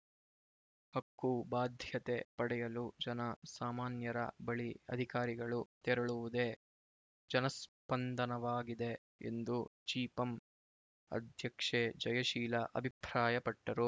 ಹಕ್ಕು ಬಾಧ್ಯತೆ ಪಡೆಯಲು ಜನ ಸಾಮಾನ್ಯರ ಬಳಿ ಅಧಿಕಾರಿಗಳು ತೆರಳುವುದೇ ಜನಸ್ಪಂದನವಾಗಿದೆ ಎಂದು ಜಿಪಂ ಅಧ್ಯಕ್ಷೆ ಜಯಶೀಲ ಅಭಿಪ್ರಾಯಪಟ್ಟರು